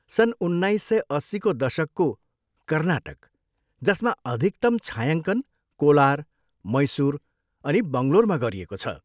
सन् उन्नाइस सय अस्सीको दशकको कर्नाटक जसमा अधिकतम छायाङ्कन कोलार, मैसुर अनि बङ्गलोरमा गरिएको छ।